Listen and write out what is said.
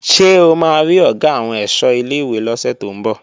Ṣé o máa rí Ọ̀gá àwọn ẹ̀ṣọ́ ilé-ìwé lọ́sẹ̀ tó ń bọ̀?